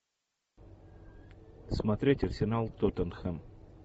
смотреть арсенал тоттенхэм